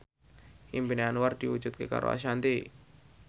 impine Anwar diwujudke karo Ashanti